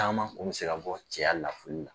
Caman kun bɛ se ka bɔ cɛya lafuli la.